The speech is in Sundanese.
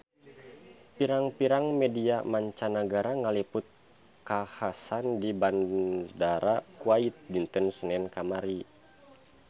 Pirang-pirang media mancanagara ngaliput kakhasan di Bandara Kuwait dinten Senen kamari